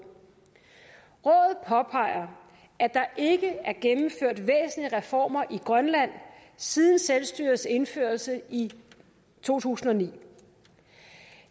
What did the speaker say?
påpeger at der ikke er gennemført væsentlige reformer i grønland siden selvstyrets indførelse i to tusind og ni